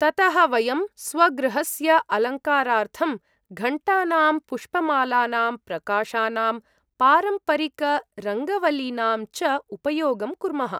ततः वयं स्वगृहस्य अलङ्कारार्थं घण्टानाम्, पुष्पमालानाम्, प्रकाशानाम्, पारम्परिकरङ्गवल्लीनां च उपयोगं कुर्मः।